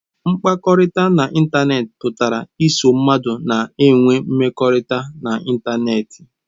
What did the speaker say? Mkpakọrịta n'ịntanetị pụtara iso mmadụ na-enwe mmekọrịta na ịntanetị.